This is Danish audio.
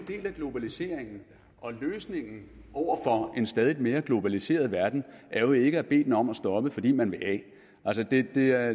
del af globaliseringen og løsningen over for en stadig mere globaliseret verden er jo ikke at bede den om at stoppe fordi man vil af det det er